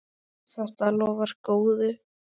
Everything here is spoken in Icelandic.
Þetta lofar góðu.